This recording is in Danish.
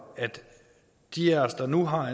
at de af os der nu har